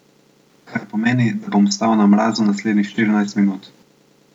Kar pomeni, da bom stal na mrazu naslednjih štirinajst minut.